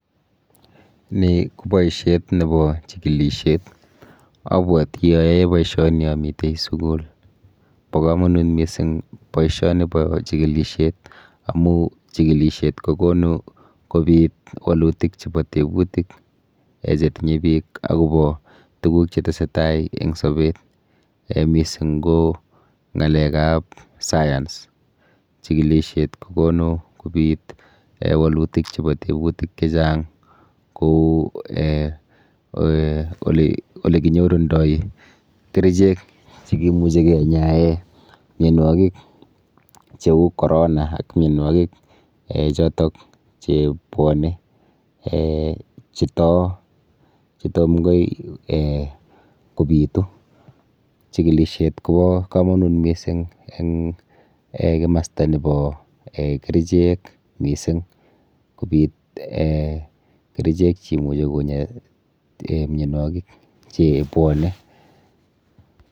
Ni ko boishet nepo chikilishet. Abwoti ayoe boishoni amite sukul. Bo komonut mising boishonipo chikilishet amu chikilishet kokonu kobit wolutik chepo tebutik um chetinye biik akopo tuguk chetesetai eng sobet um mising ko ng'alekap science. Chikilishet kokonu kobit um wolutik chepo tebutik chechang kou um olekinyorundoi kerichek chekimuchi kenyae mienwokik cheu corona ak mienwokik um chotok chebwone um chetoo chetomkai um kobitu. Chikilishet kopo komonut mising eng um kimasta nepo um kerichek mising kobit um kerichek cheimuchi konya mienwokik chebwone.